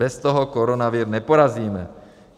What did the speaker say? Bez toho koronavir neporazíme.